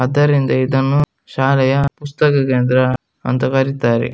ಆದರಿಂದ ಇದನ್ನು ಶಾಲೆಯ ಪುಸ್ತಕ ಕೇಂದ್ರ ಅಂತ ಕರಿತರೆ.